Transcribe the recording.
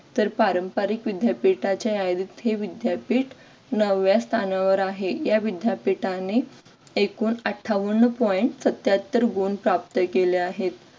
तर पारंपरिक विद्यापीठांच्या यादीत हे विद्यापीठ नवव्या स्थानावर आहे या विद्यापीठाने ऐकून अठ्ठावन्न point सत्त्याहत्तर गुण प्राप्त केले आहेत.